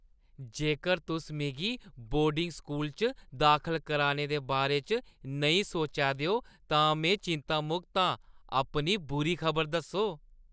जेकर तुस मिगी बोर्डिंग स्कूल च दाखल कराने दे बारे च नेईं सोचा दे ओ, तां मिगी चिंतामुक्त आं। अपनी बुरी खबर दस्सो।